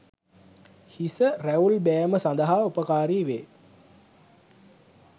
හිස රැවුල් බෑම සඳහා උපකාරි වේ.